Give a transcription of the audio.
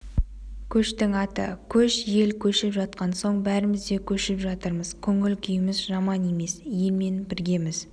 көштің аты көш ел көшіп жатқан соң бәріміз де көшіп жатырмыз көңіл-күйіміз жаман емес елмен біргеміз